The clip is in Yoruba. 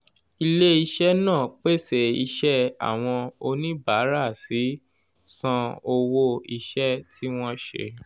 ilè iṣẹ́ nàá pèsè iṣẹ́ àwọn oníbàárà sì san owó iṣẹ́ tí wọ́n ṣe